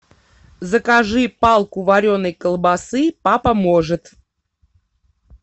закажи палку вареной колбасы папа может